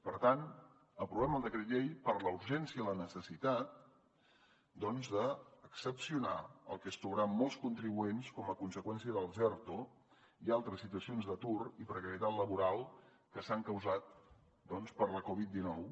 per tant aprovem el decret llei per la urgència i la necessitat doncs d’excepcionar el que es trobaran molts contribuents com a conseqüència dels erto i altres situacions d’atur i precarietat laboral que s’han causat per la covid dinou